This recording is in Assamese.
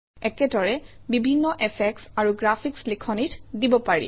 একেদৰে বিভিন্ন এফেক্টচ আৰু গ্ৰাফিকচ লিখনিত দিব পাৰি